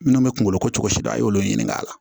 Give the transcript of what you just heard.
Minnu bɛ kunkolo ko cogo si dɔn a y'olu ɲininka a la